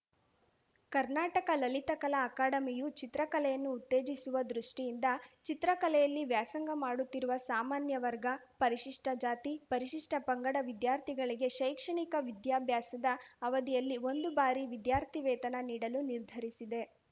ಕರ್ನಾಟಕ ಲಲಿತಕಲಾ ಅಕಾಡೆಮಿಯು ಚಿತ್ರಕಲೆಯನ್ನು ಉತ್ತೇಜಿಸುವ ದೃಷ್ಠಿಯಿಂದ ಚಿತ್ರಕಲೆಯಲ್ಲಿ ವ್ಯಾಸಂಗ ಮಾಡುತ್ತಿರುವ ಸಾಮಾನ್ಯ ವರ್ಗ ಪರಿಷಿಷ್ಠ ಜಾತಿ ಪರಿಷಿಷ್ಠ ಪಂಗಡ ವಿದ್ಯಾರ್ಥಿಗಳಿಗೆ ಶೈಕ್ಷಣಿಕ ವಿದ್ಯಾಭ್ಯಾಸದ ಅವಧಿಯಲ್ಲಿ ಒಂದು ಬಾರಿ ವಿದ್ಯಾರ್ಥಿವೇತನ ನೀಡಲು ನಿರ್ಧರಿಸಿದೆ